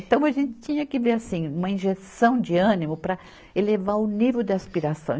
Então, a gente tinha que ver, assim, uma injeção de ânimo para elevar o nível de aspiração.